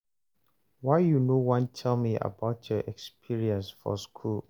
why you no wan tell me about your experience for school